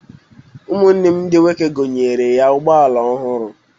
Ụmụ nne di m nwoke gonyere ya ụgbọala ọhụrụ.